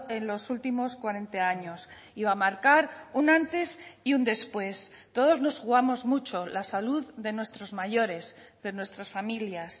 en los últimos cuarenta años y va a marcar un antes y un después todos nos jugamos mucho la salud de nuestros mayores de nuestras familias